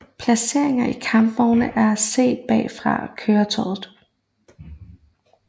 Placeringer i kampvognen er set bagfra køretøjet